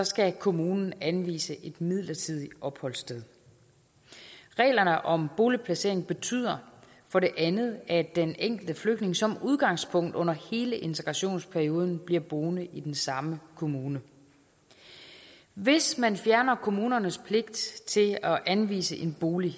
skal kommunen anvise et midlertidigt opholdssted reglerne om boligplacering betyder for det andet at den enkelte flygtning som udgangspunkt under hele integrationsperioden bliver boende i den samme kommune hvis man fjerner kommunernes pligt til at anvise en bolig